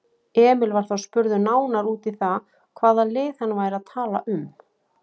Emil var þá spurður nánar út í það hvaða lið hann væri að tala um?